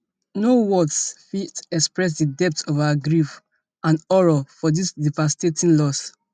no words fit express di depth of our grief and horror for dis devastating loss